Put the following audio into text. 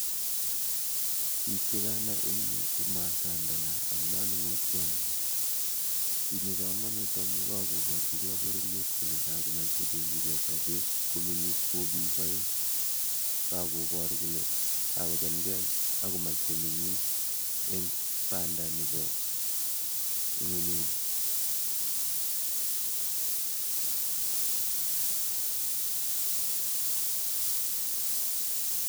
Biik chekanai eng yu ko maasayandana ak monung'otiotnyi. Tinyei komonut amu kakoborjigei bororiet kole kakomach kocheng'jigei sobeet koming'is ko biik aeng'. Kakoboor kole kakochamgei ak komach koming'is eng panda nebo ing'unyuni.